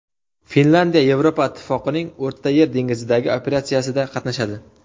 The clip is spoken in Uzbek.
Finlyandiya Yevropa Ittifoqining O‘rtayer dengizidagi operatsiyasida qatnashadi.